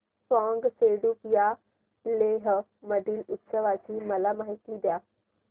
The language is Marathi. फ्यांग सेडुप या लेह मधील उत्सवाची मला माहिती द्या